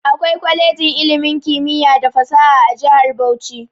Akwai kwalejin ilimin kimiyya da fasaha a jihar Bauchi.